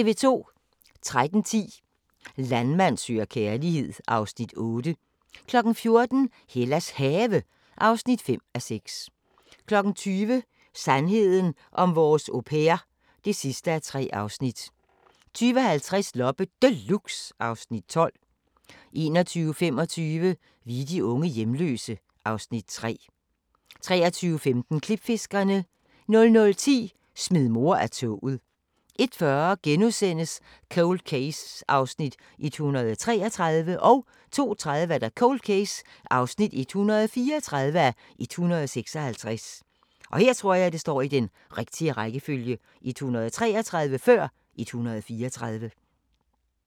13:10: Landmand søger kærlighed (Afs. 8) 14:00: Hellas Have (5:6) 20:00: Sandheden om vores au pair (3:3) 20:50: Loppe Deluxe (Afs. 12) 21:25: Vi er de unge hjemløse (Afs. 3) 23:15: Klipfiskerne 00:10: Smid mor af toget 01:40: Cold Case (133:156)* 02:30: Cold Case (134:156)